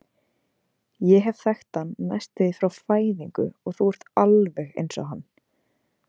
Ég hef þekkt hann næstum því frá fæðingu og þú ert alveg eins og hann.